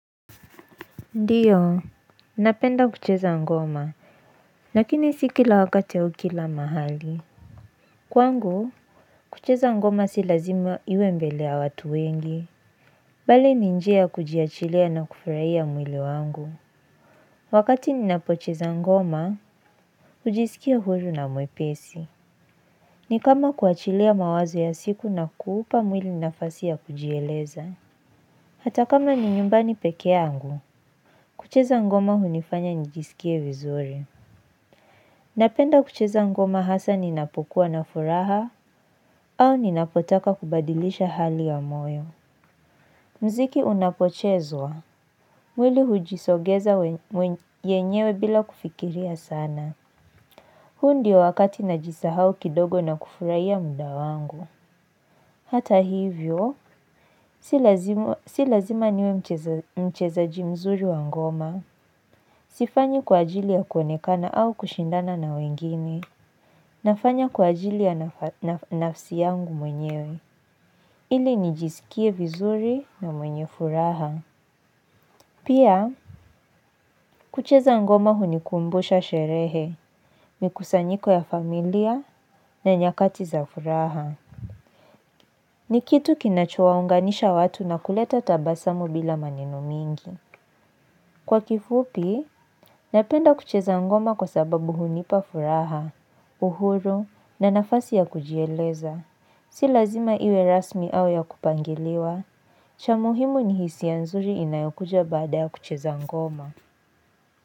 Ndiyo, napenda kucheza ngoma. Lakini si kila wakati au kila mahali. Kwangu, kucheza ngoma si lazima iwe mbele ya watu wengi. Bali ni njia ya kujiachilia na kufurahia mwili wangu. Wakati ninapocheza ngoma, hujisikia huru na mwepesi. Ni kama kuachilia mawazo ya siku na kuupa mwili nafasi ya kujieleza. Hata kama ni nyumbani peke yangu, kucheza ngoma hunifanya njisikie vizuri. Napenda kucheza ngoma hasa ninapokuwa na furaha au ninapotaka kubadilisha hali ya moyo. Mziki unapochezwa. Mwili hujisogeza yenyewe bila kufikiria sana. Huu ndio wakati najisahau kidogo na kufurahia muda wangu. Hata hivyo, si lazima niwe mchezaji mzuri wa ngoma. Sifanyi kwa ajili ya kuonekana au kushindana na wengine. Nafanya kwa ajili ya nafsi yangu mwenyewe ili nijisikie vizuri na mwenye furaha pia kucheza ngoma hunikumbusha sherehe mikusanyiko ya familia na nyakati za furaha ni kitu kinacho waunganisha watu na kuleta tabasamu bila maneno mingi kwa kifupi, napenda kucheza ngoma kwa sababu hunipa furaha uhuru na nafasi ya kujieleza. Si lazima iwe rasmi au ya kupangiliwa. Cha muhimu ni hisia nzuri inayokuja baada ya kucheza ngoma.